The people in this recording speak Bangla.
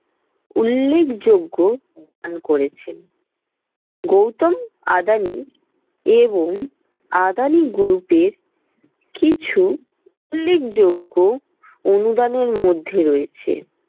উল্লেখযোগ্য অবদান করেছেন। গৌতম আদানি এবং আদানি group এর কিছু উল্লেখযোগ্য অনুদানের মধ্যে রয়েছে